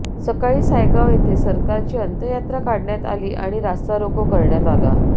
सकाळी सायगाव येथे सरकारची अंत्ययात्रा काढण्यात आली आणि रास्तारोको करण्यात आला